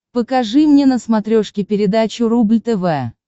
покажи мне на смотрешке передачу рубль тв